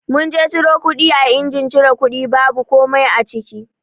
Mun je ciro kuɗi a injin cire kuɗi babu komai a ciki.